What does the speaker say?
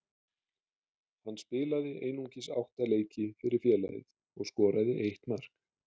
Hann spilaði einungis átta leiki fyrir félagið og skoraði eitt mark.